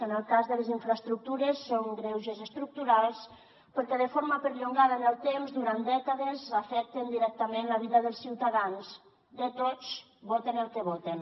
en el cas de les infraestructures són greuges estructurals perquè de forma perllongada en el temps durant dècades afecten directament la vida dels ciutadans de tots voten el que voten